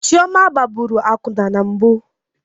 Chioma gbaraburu akwụna na mbụ